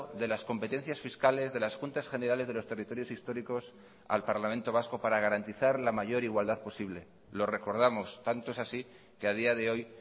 de las competencias fiscales de las juntas generales de los territorios históricos al parlamento vasco para garantizar la mayor igualdad posible lo recordamos tanto es así que a día de hoy